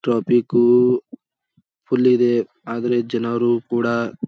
traffic full ಇದೆ ಆದ್ರೆ ಜನರು ಕೂಡ --